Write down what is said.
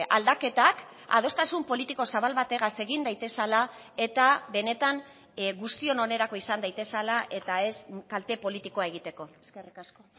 aldaketak adostasun politiko zabal bategaz egin daitezela eta benetan guztion onerako izan daitezela eta ez kalte politikoa egiteko eskerrik asko